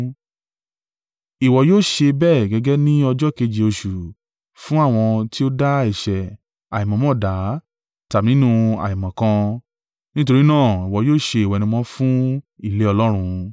Ìwọ yóò ṣe bẹ́ẹ̀ gẹ́gẹ́ ní ọjọ́ keje oṣù fún àwọn tí ó dá ẹ̀ṣẹ̀ àìmọ̀ọ́mọ̀dá tàbí nínú àìmọ̀kan; nítorí náà, ìwọ yóò ṣe ìwẹ̀nùmọ́ fún ilé Ọlọ́run.